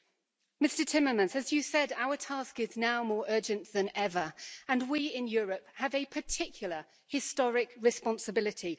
As Mr Timmermans said, our task is now more urgent than ever and we in Europe have a particular historic responsibility.